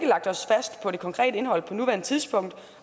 lagt os fast på det konkrete indhold på nuværende tidspunkt